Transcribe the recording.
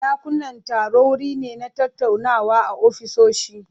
Dakunan taro wuri ne na tattaunawa a ofisoshi.